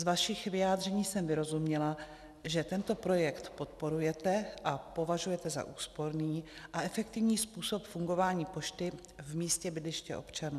Z vašich vyjádření jsem vyrozuměla, že tento projekt podporujete a považujete za úsporný a efektivní způsob fungování pošty v místě bydliště občana.